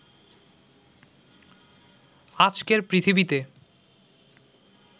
আজকের পৃথিবীতে